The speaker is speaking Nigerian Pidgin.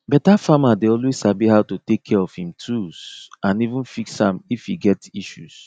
better farmer dey always sabi how to take care of him tools and even fix am if e get issues